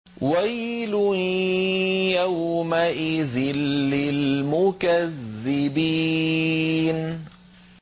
وَيْلٌ يَوْمَئِذٍ لِّلْمُكَذِّبِينَ